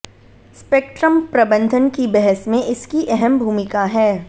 spectrum प्रबंधन की बहस में इसकी अहम भूमिका है